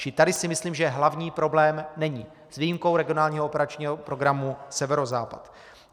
Čili tady si myslím, že hlavní problém není - s výjimkou regionálního operačního programu Severozápad.